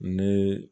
Ni